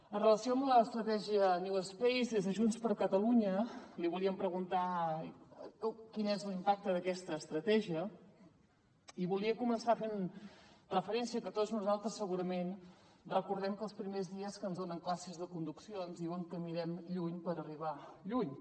en relació amb l’estratègia newspace des de junts per catalunya li volíem preguntar quin és l’impacte d’aquesta estratègia i volia començar fent referència al fet que tots nosaltres segurament recordem que els primers dies que ens donen classes de conducció ens diuen que mirem lluny per arribar lluny